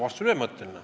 Vastus on ühemõtteline.